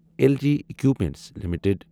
L G equipments limited